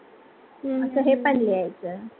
हम्म असे हे पण लिहायच